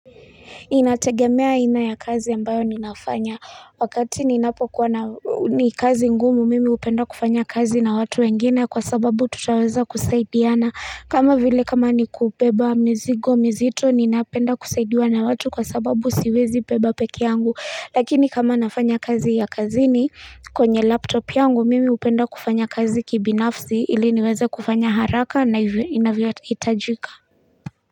Inategemea aina ya kazi ambayo ninafanya wakati ninapokuwa na, ni kazi ngumu, mimi hupenda kufanya kazi na watu wengine kwa sababu tutaweza kusaidiana. Kama vile kama ni kubeba mizigo mizito ninapenda kusaidiwa na watu kwa sababu siwezi beba peke yangu. Lakini kama nafanya kazi ya kazini kwenye laptop yangu mimi hupenda kufanya kazi kibinafsi ili niweza kufanya haraka na inavyahitajika.